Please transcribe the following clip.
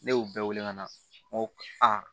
Ne y'u bɛɛ wele ka na